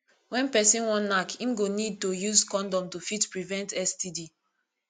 when person wan knack im go need to use condom to fit prevent std